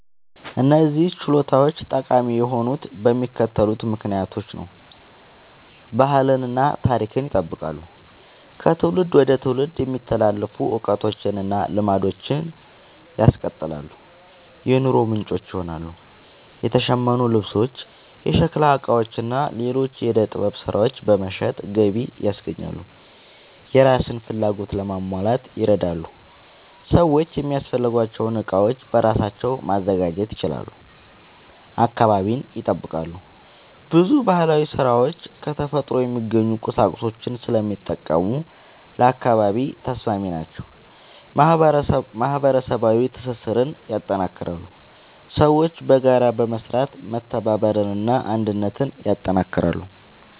እነዚህ ችሎታዎች ጠቃሚ የሆኑት በሚከተሉት ምክንያቶች ነው፦ ባህልን እና ታሪክን ይጠብቃሉ – ከትውልድ ወደ ትውልድ የሚተላለፉ እውቀቶችን እና ልማዶችን ያስቀጥላሉ። የኑሮ ምንጭ ይሆናሉ – የተሸመኑ ልብሶች፣ የሸክላ ዕቃዎች እና ሌሎች የዕደ ጥበብ ሥራዎች በመሸጥ ገቢ ያስገኛሉ። የራስን ፍላጎት ለማሟላት ይረዳሉ – ሰዎች የሚያስፈልጋቸውን ዕቃዎች በራሳቸው ማዘጋጀት ይችላሉ። አካባቢን ይጠብቃሉ – ብዙ ባህላዊ ሥራዎች ከተፈጥሮ የሚገኙ ቁሳቁሶችን ስለሚጠቀሙ ለአካባቢ ተስማሚ ናቸው። ማህበረሰባዊ ትስስርን ያጠናክራሉ – ሰዎች በጋራ በመስራት መተባበርን እና አንድነትን ያጠናክራሉ።